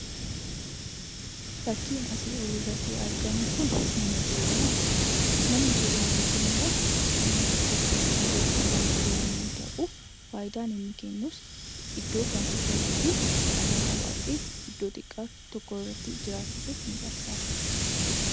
Fakkiin asii olitti argamu kun mana jireenyaa jedhama. Manni jireenyaa kunimmoo gamoo tokko irratti kan jiru yommuu ta'u, faayidaan inni kennu iddoo kan qusatuu fi namoota baay'ee iddoo xiqqaa tokko irratti jiraachisuuf ni gargaara.